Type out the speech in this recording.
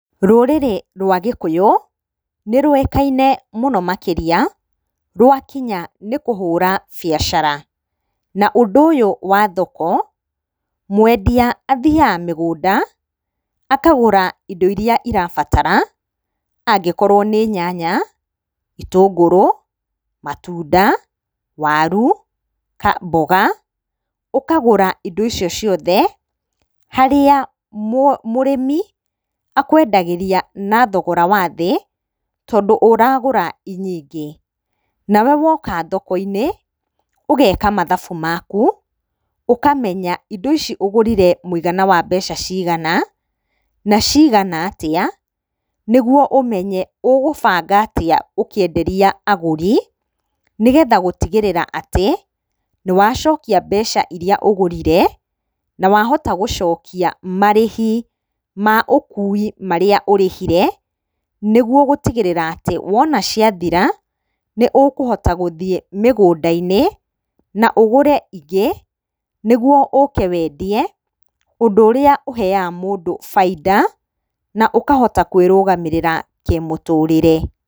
Rũrĩrĩ rwa gĩkũyũ nĩ rũĩkaine mũno makĩria rwakinya nĩ kũhũra biacara. Na ũndũ ũyũ wa thoko mwendia athiaga mĩgũnda akagũra indo iria irabatara angĩkorwo nĩ nyanya, itũngũrũ, matunda, waru, mboga ũkagũra indo icio ciothe harĩa mũrĩmi akwendagĩria na thogora wa thĩ tondũ ũragũra i nyingĩ. Nawe woka thoko-inĩ ũgeka mathabu maku ũkamenya indo ici ũgũrire mũigana wa mbeca cigana, na cigana atĩa nĩguo ũmenye ũgũbanga atĩa ũkĩenderia agũri. Nĩgetha gũtigĩrĩra atĩ nĩwacokia mbeca iria ũgũrire na wahota gũcokia marĩhi ma ũkui marĩa ũrĩhire nĩguo gũtigĩrĩra atĩ wona ciathira nĩ ũkũhota gũthiĩ mĩgũnda-inĩ na ũgũre ingĩ, nĩguo ũke wendie ũndũ ũrĩa ũheyaga mũndũ baida na ũkahota kwĩrũgamĩrĩra kĩmũtũrĩre.